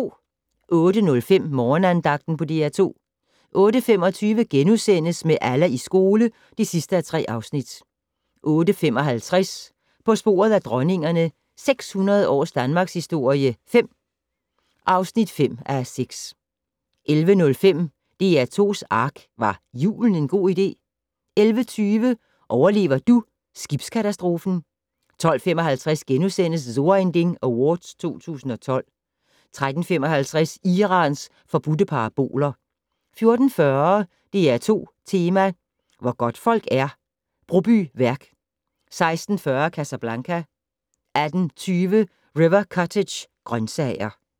08:05: Morgenandagten på DR2 08:25: Med Allah i skole (3:3)* 08:55: På sporet af dronningerne - 600 års danmarkshistorie 5 (5:6) 11:05: DR2's ARK - Var julen en god idé? 11:20: Overlever du skibskatastrofen? 12:55: So ein Ding Awards 2012 * 13:55: Irans forbudte paraboler 14:40: DR2 Tema: Hvor godtfolk er - Brobyværk 16:40: Casablanca 18:20: River Cottage - grøntsager